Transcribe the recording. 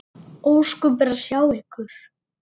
Ósköp er að sjá ykkur.